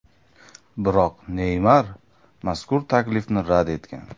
Biroq Neymar mazkur taklifni rad etgan.